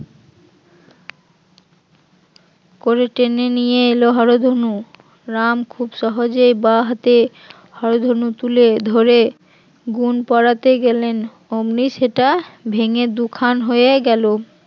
টেনে নিয়ে এলো হরধনু রাম খুব সহজেই বাহাতে হরধনু তুলে ধরে গুন পড়াতে গেলেন অমনি সেটা ভেঙে দুখান হয়ে গেল